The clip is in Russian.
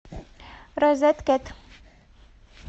розеткед